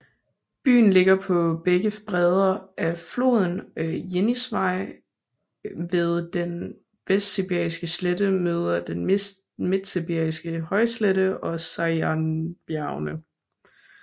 Byen ligger på begge bredder af floden Jenisej ved den Vestsibiriske slette møder den Midtsibiriske højslette og Sajanbjergene